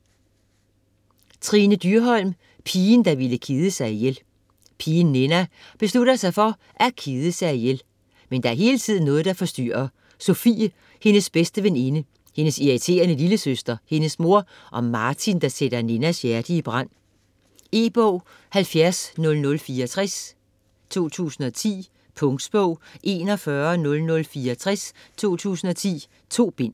Dyrholm, Trine: Pigen, der ville kede sig ihjel Pigen Ninna beslutter sig for at kede sig ihjel. Men der er hele tiden noget, der forstyrrer: Sofie - hendes bedste veninde, hendes irriterende lillesøster, hendes mor, og Martin der sætter Ninnas hjerte i brand. E-bog 710064 2010. Punktbog 410064 2010. 2 bind.